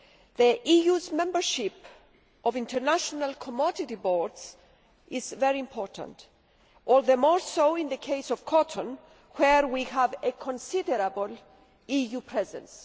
The EU's membership of international commodity boards is very important, all the more so in the case of cotton where we have a considerable EU presence.